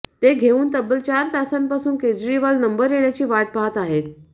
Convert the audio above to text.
ते घेऊन तब्बल चार तासांपासून केजरीवाल नंबर येण्याची वाट पाहत आहेत